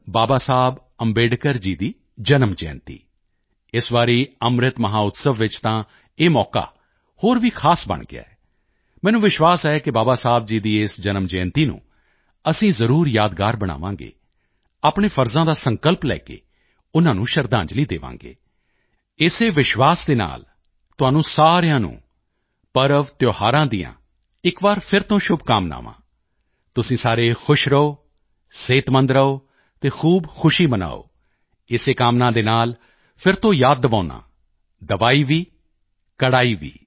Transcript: ਬਾਬਾ ਸਾਹਿਬ ਅੰਬੇਡਕਰ ਜੀ ਦੀ ਜਨਮ ਜਯੰਤੀ ਇਸ ਵਾਰੀ ਅੰਮ੍ਰਿਤ ਮਹੋਤਸਵ ਵਿੱਚ ਤਾਂ ਇਹ ਮੌਕਾ ਹੋਰ ਵੀ ਖਾਸ ਬਣ ਗਿਆ ਹੈ ਮੈਨੂੰ ਵਿਸ਼ਵਾਸ ਹੈ ਕਿ ਬਾਬਾ ਸਾਹਿਬ ਦੀ ਇਸ ਜਨਮ ਜਯੰਤੀ ਨੂੰ ਅਸੀਂ ਜ਼ਰੂਰ ਯਾਦਗਾਰ ਬਣਾਵਾਂਗੇ ਆਪਣੇ ਫਰਜ਼ਾਂ ਦਾ ਸੰਕਲਪ ਲੈ ਕੇ ਉਨ੍ਹਾਂ ਨੂੰ ਸ਼ਰਧਾਂਜਲੀ ਦੇਵਾਂਗੇ ਇਸੇ ਵਿਸ਼ਵਾਸ ਦੇ ਨਾਲ ਤੁਹਾਨੂੰ ਸਾਰਿਆਂ ਨੂੰ ਪਰਵਤਿਓਹਾਰਾਂ ਦੀਆਂ ਇਕ ਵਾਰ ਫਿਰ ਤੋਂ ਸ਼ੁਭਕਾਮਨਾਵਾਂ ਤੁਸੀਂ ਸਾਰੇ ਖੁਸ਼ ਰਹੋ ਸਿਹਤਮੰਦ ਰਹੋ ਅਤੇ ਖੂਬ ਖੁਸ਼ੀ ਮਨਾਓ ਇਸੇ ਕਾਮਨਾ ਦੇ ਨਾਲ ਫਿਰ ਤੋਂ ਯਾਦ ਦਿਵਾਉਂਦਾ ਹਾਂ ਦਵਾਈ ਭੀ ਕੜਾਈ ਭੀ